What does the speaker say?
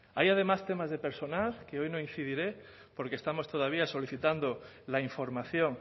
hay además temas de personal que hoy no incidiré porque estamos todavía solicitando la información